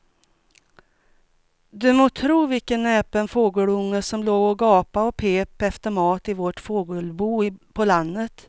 Du må tro vilken näpen fågelunge som låg och gapade och pep efter mat i vårt fågelbo på landet.